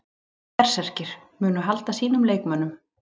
Berserkir: Munu halda sínum leikmönnum.